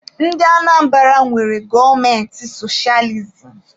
Ndị Anambara nwere gọọmenti sochializim